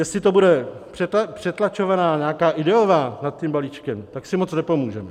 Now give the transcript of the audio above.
Jestli to bude přetlačovaná nějak ideová nad tím balíčkem, tak si moc nepomůžeme.